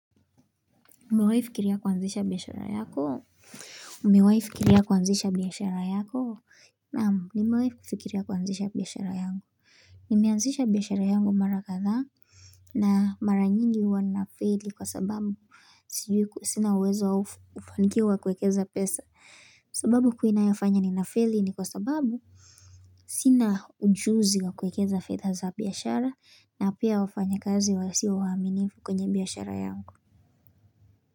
Umewai fikiria kuanzisha biashara yako? Umewai fikiria kuanzisha biashara yako? Naamu nimewai fikiria kuanzisha biashara yangu. Nimeanzisha biashara yangu mara kadhaa. Na mara nyingi huwa nafeli kwa sababu. Sina uwezo ufanikio wa kuwekeza pesa sababu hu inayafanya ni nafeli ni kwa sababu. Sina ujuzi wa kuwekeza fedha za biashara na pia wafanya kazi wa si wa waminifu kwenye biashara yangu.